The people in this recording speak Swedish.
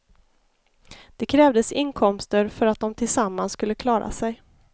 Det krävdes inkomster för att de tillsammans skulle klara sig.